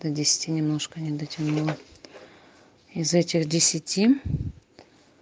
до десяти немножко не дотянула из этих десяти